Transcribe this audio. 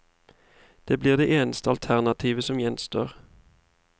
Det blir det eneste alternativet som gjenstår.